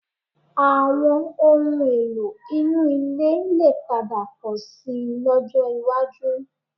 Àwọn ohun-èlò inú ilé lè padà pọ̀ síi lọ́jọ́ iwájú